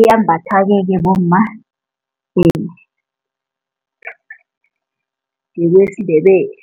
iyambathwa ke bomma ngebesiNdebele.